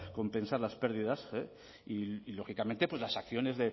compensar las pérdidas y lógicamente las acciones